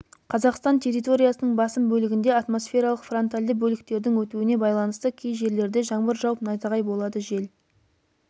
қазақстан территориясының басым бөлігінде атмосфералық фронтальды бөліктердің өтуіне байланысты кей жерлерде жаңбыр жауып найзағай болады жел